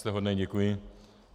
Jste hodný, děkuji.